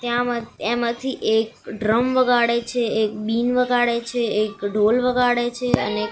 ત્યાં એમાથી એક ડ્રમ વગાડે છે એક બીન વગાડે છે એક ઢોલ વગાડે છે અને એક--